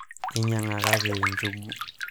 inyang'akaki njugu